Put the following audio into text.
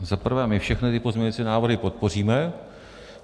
Za prvé, my všechny ty pozměňovací návrhy podpoříme.